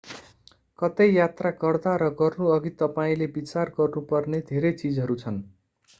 कतै यात्रा गर्दा र गर्नु अघि तपाईंले विचार गर्नु पर्ने धेरै चीजहरू छन्